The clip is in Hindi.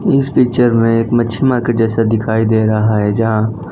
इस पिक्चर में एक मच्छी मार्केट जैसा दिखाई दे रहा है जहाँ--